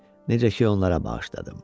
Necə ki onlara bağışladım.